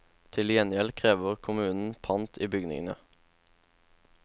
Til gjengjeld krever kommunen pant i bygningene.